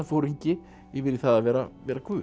uppreisnarforingi yfir í það að vera vera guð